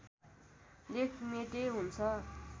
लेख मेटे हुन्छ